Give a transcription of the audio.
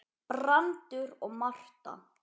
Brandur og Marta.